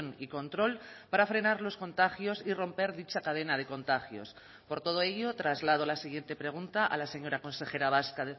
y control para frenar los contagios y romper dicha cadena de contagios por todo ello traslado la siguiente pregunta a la señora consejera vasca